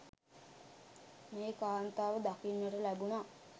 මේ කාන්තාව දකින්නට ලැබුනා.